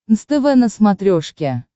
нств на смотрешке